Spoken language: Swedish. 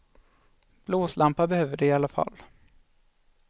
Blåslampa behöver de i alla fall.